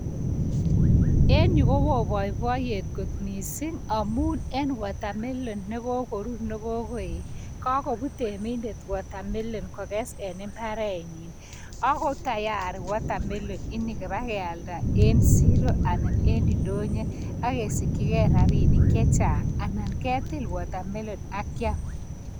En yu ko wo boiboiyet kot mising' amun en watermelon negagorur negogoet. Ka go put emindet watermelon en imbarenyin. Ago tayari pa ke alda en ndonyo.